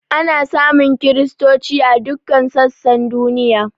Ana samun kristoci a duk sassan duniya.